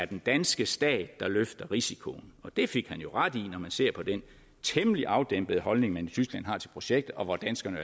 den danske stat der løftede risikoen og det fik han jo ret i når man ser på den temmelig afdæmpede holdning tyskland har til projektet og hvor danskerne